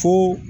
Fo